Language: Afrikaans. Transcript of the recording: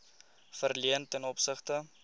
verleen ten opsigte